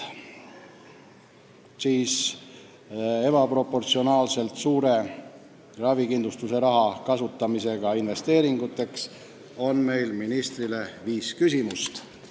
Ebaproportsionaalselt suure ravikindlustussumma kasutamise kohta investeeringuteks on meil ministrile viis küsimust.